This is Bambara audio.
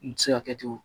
N ti se ka kɛ cogo